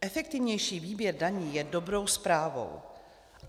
Efektivnější výběr daní je dobrou zprávou.